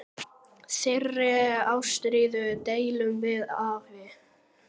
Þeirri ástríðu deildum við afi.